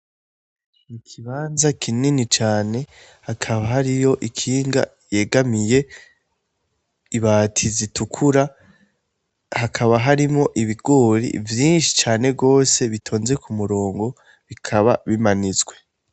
Ikibanza kinini cane hakaba hariho ikinga yegamiye ibati zitukura ,,hakaba har ibigori vyinshi cane gose bitonze kumurongo ,bikaba bimanitswe.